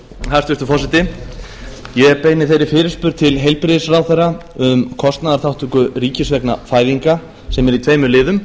hæstvirtur forseti ég beini þeirri fyrirspurn til hæstvirts heilbrigðisráðherra um kostnaðarþátttöku ríkis vegna fæðinga sem er í tveimur liðum